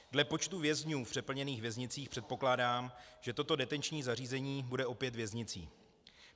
Dle počtu vězňů v přeplněných věznicích předpokládám, že toto detenční zařízení bude opět věznicí.